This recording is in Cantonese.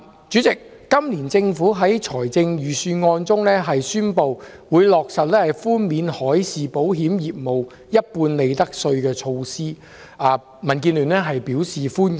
主席，政府在本年度財政預算案中宣布，落實寬免海事保險業務一半利得稅的措施，民主建港協進聯盟表示歡迎。